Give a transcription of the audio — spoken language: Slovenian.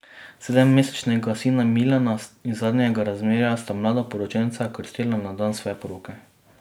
Sedemmesečnega sina Milana iz zadnjega razmerja sta mladoporočenca krstila na dan svoje poroke.